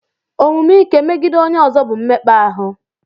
Omume ike megide onye ọzọ bụ mmekpa ahụ.